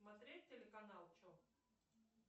смотреть телеканал че